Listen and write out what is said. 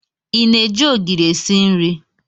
Ị na-eji ogiri esi nri?